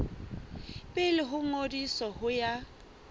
pele ho ngodiso ho ya